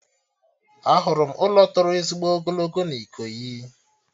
Ahụrụ m ụlọ tọrọ ezigbo ogologo na Ikoyi